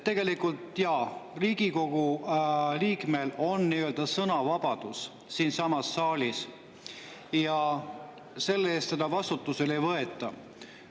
Tegelikult jaa, Riigikogu liikmel on sõnavabadus siinsamas saalis ja selle eest teda vastutusele ei võeta.